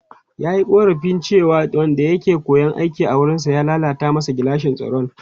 Ya yi korafin cewa wanda ya ke koyon aiki a wurinsa ya lalata masa gilashin tsaro.